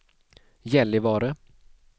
Gällivare